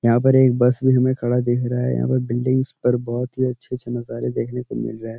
यहाँ पर एक बस भी हमें खड़ा देख रहा है। यहाँ पर बिल्डिंगस पर बहोत ही अच्छे-अच्छे नज़ारे देखने को मिल रहे।